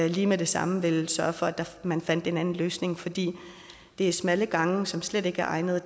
lige med det samme ville sørge for at man fandt en anden løsning fordi det er smalle gange som slet ikke er egnede